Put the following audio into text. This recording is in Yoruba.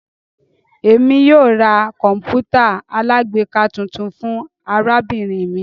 Emi yóò ra kọǹpútà alágbèéká tuntun fun arabinrin mi